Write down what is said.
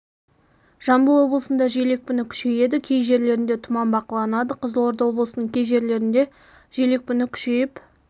жамбыл облысында жел екпіні күшейеді кей жерлерінде тұман бақыланады қызылорда облысының кей жерлерінде жел екпіні күшейіп